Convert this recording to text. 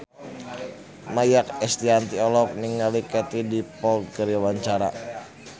Maia Estianty olohok ningali Katie Dippold keur diwawancara